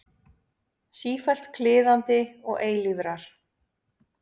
Sífellt kliðandi og eilífrar.